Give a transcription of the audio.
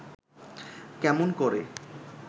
কেমন করে